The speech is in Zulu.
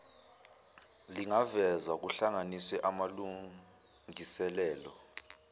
lingavezwa kuhlanganisa amalungiselelo